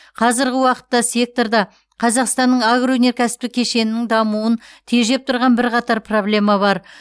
қазіргі уақытта секторда қазақстанның агроөнеркәсіптік кешенінің дамуын тежеп тұрған бірқатар проблема бар